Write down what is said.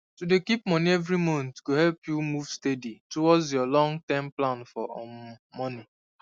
to dey keep money every monthgo help you move steady towards your long term plan for um money